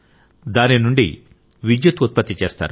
దాని నుండి విద్యుత్ ఉత్పత్తి చేస్తారు